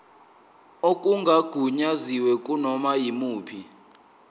okungagunyaziwe kunoma yimuphi